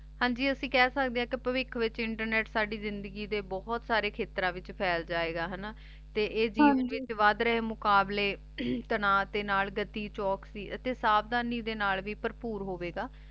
ਹਾਂਜੀ ਅਸੀਂ ਕਹ ਸਕਦੇ ਆਂ ਕੇ ਪਾਵਿਖ ਵਿਚ internet ਸਾਡੀ ਜ਼ਿੰਦਗੀ ਦੇ ਬੋਹਾਯ੍ਤ ਸਾਰੇ ਖ਼ਤਰਨ ਵਿਚ ਫੈਲ ਜੇ ਗਾ ਹਾਨਾ ਤੇ ਇਹ ਜ਼ਿੰਦਗੀ ਵਿਚ ਵਾਦ ਰਹੀ ਮੁਕ਼ਾਬ੍ਲਾਯ ਤਨਵ ਦੇ ਨਾਲ ਨਾਲ ਗਤੀ ਚੁਕਸੀ ਅਤੀ ਸਾਵਧਾਨੀ ਦੇ ਨਾਲ ਵੀ ਭਾਰ੍ਪੋਰ ਹੋਵੀ ਗਾ